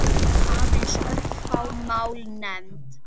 Aðeins örfá mál nefnd.